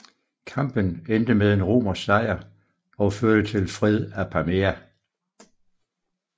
Kampen endte med en romersk sejr og førte til fred Apamea